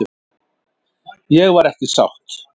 Ég var ekki sátt.